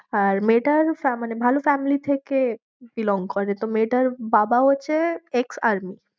অরে মেয়েটার মানে ভালো family থেকে belong করে, তো মেয়েটার বাবা হচ্ছে ex-army